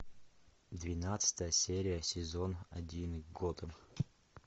двенадцатая серия сезон один готэм